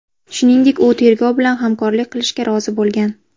Shuningdek, u tergov bilan hamkorlik qilishga rozi bo‘lgan.